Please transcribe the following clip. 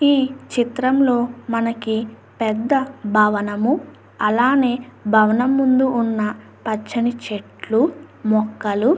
ఈ చిత్రంలోని మనకి పెద్ద భవనం. అలాగే భవనం ముందు ఉన్న పచ్చని చెట్లు మొక్కలు --